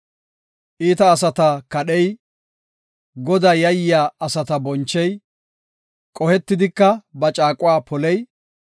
iita asata kadhey, Godaa yayiya asata bonchey, qohetidika ba caaquwa poley,